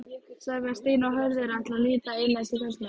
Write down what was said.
Sævar, Stína og Hörður ætla að líta inn eftir kvöldmat.